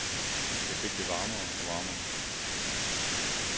Jeg fik det varmere og varmere.